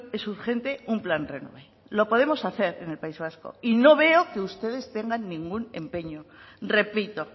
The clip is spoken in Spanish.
es urgente un plan renove lo podemos hacer en el país vasco y no veo que ustedes tengan ningún empeño repito